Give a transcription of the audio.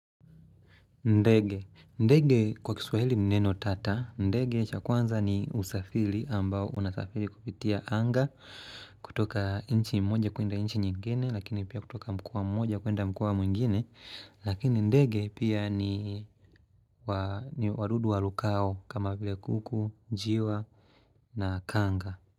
Ndege, ndege kwa kiswahili ni neno tata, ndege cha kwanza ni usafiri ambao unasafiri kupitia anga kutoka inchi mmoja kuenda inchi nyingine lakini pia kutoka mkoa mmoja kuenda mkoa mwingine lakini ndege pia ni wadudu warukao kama vile kuku, njiwa na kanga.